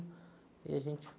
E a gente